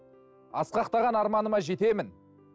асқақтаған арманыма жетемін